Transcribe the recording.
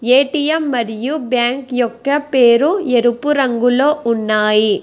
ATM మరియు bank యొక్క పేరు ఎరుపు రంగులో ఉన్నాయి.